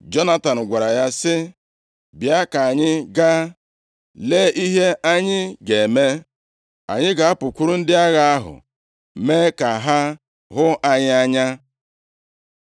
Jonatan gwara ya sị, “Bịa ka anyị ga, lee ihe anyị ga-eme. Anyị ga-apụkwuru ndị agha ahụ mee ka ha hụ anyị anya.